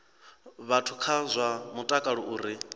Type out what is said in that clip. vhathu kha zwa mutakalo uri